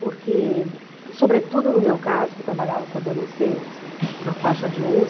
Porque, sobretudo no meu caso, que trabalhava com adolescentes, na faixa de onze